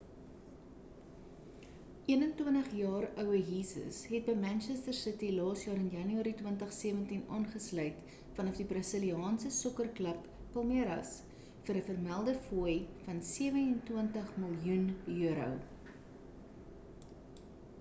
21-jaar oue jesus het by manchester city laas jaar in januarie 2017 aangesluit vanaf die brasiliaanse sokkerklub palmeiras vir 'n vermelde fooi van £27 miljoen